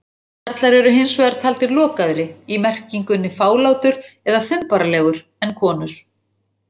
Karlar eru hins vegar taldir lokaðri- í merkingunni fálátur eða þumbaralegur- en konur.